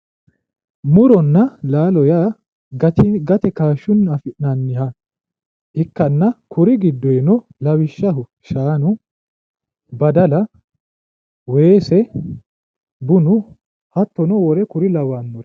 Muronna laalo yaa gate kashunni afi'nannitta ikkanna kuri giddono lawishshaho shaanu, badalla, weese bunnu hattono wole kuri lawannoreti